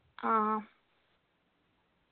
ആ